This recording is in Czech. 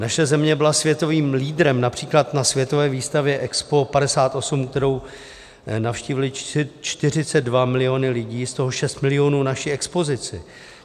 Naše země byla světovým lídrem například na Světové výstavě EXPO 58, kterou navštívily 42 miliony lidí, z tohoto 6 milionů naši expozici.